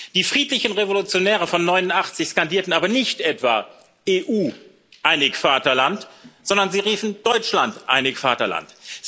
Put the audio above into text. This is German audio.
Die friedlichen Revolutionäre von 1989 skandierten aber nicht etwa EU, einig Vaterland, sondern sie riefen Deutschland, einig Vaterland.